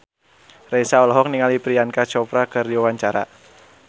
Raisa olohok ningali Priyanka Chopra keur diwawancara